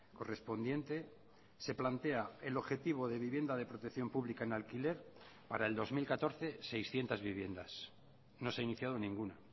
correspondiente se plantea el objetivo de vivienda de protección pública en alquiler para el dos mil catorce seiscientos viviendas no se ha iniciado ninguna